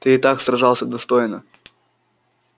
ты и так сражался достойно